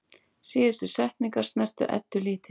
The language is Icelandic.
Síðustu setningarnar snertu Eddu dálítið.